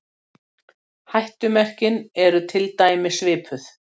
Hættumerkin eru til dæmis svipuð.